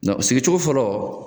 sigi cogo fɔlɔ